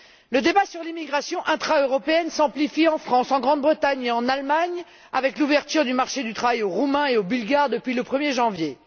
Le débat sur l'immigration intra européenne s'amplifie en France, en Grande Bretagne et en Allemagne avec l'ouverture du marché du travail aux Roumains et aux Bulgares depuis le 1 er janvier.